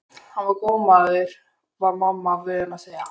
Hann var góður maður var mamma vön að segja.